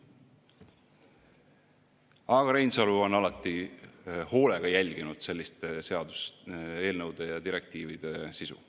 Aga Reinsalu on alati hoolega jälginud selliste seaduseelnõude ja direktiivide sisu.